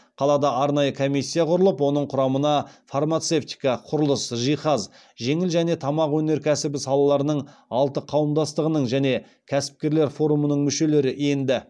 қалада арнайы комиссия құрылып оның құрамына фармацевтика құрылыс жиһаз жеңіл және тамақ өнеркәсібі салаларының алты қауымдастығының және кәсіпкерлер форумының мүшелері енді